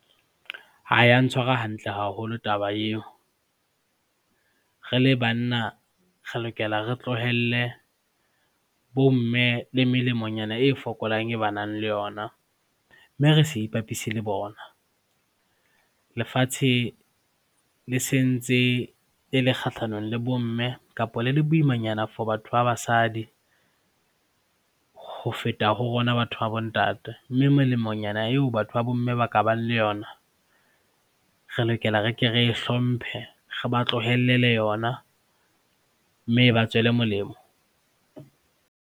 Ho ya ntshwara hantle haholo taba eo. Re le banna re lokela re tlohelle bomme le melemonyana e fokolang e ba nang le yona, mme re se ipapise le bona. Lefatshe le sentse le le kgahlanong le bomme kapa le le boimanyana for batho ba basadi ho feta ho rona batho ba bontate mme melemonyana eo batho ba bomme ba ka bang le yona re lokela re ke re e hlomphe, re ba tlohellele yona mme e ba tswele molemo.